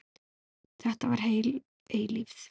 Þetta var heil eilífð.